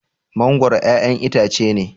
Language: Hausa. mangoro ƴaƴan itace ne